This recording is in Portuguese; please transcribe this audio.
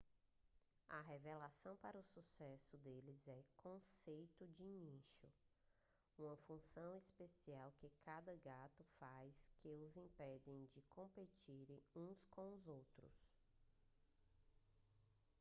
a revelação para o sucesso deles é o conceito de nicho uma função especial que cada gato faz que os impedem de competirem uns com os outros